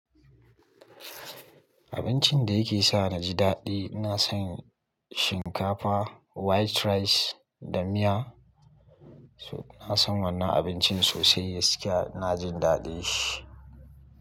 Abincin da yake sa na ji daɗi, na san shinkafa, white rice da miya. Na san wannan abincin sosai, gaskiya ina jin daɗin shi.